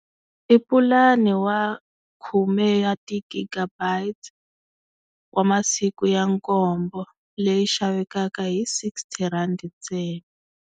I pulani wa khume ya ti-gigabytes wa masiku ya nkombo leyi xavekaka hi sixty rand ntsena.